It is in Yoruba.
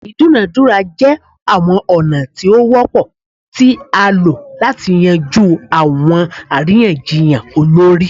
Idunadura jẹ awọn ọna ti o wọpọ ti a lo lati yanju awọn ariyanjiyan olori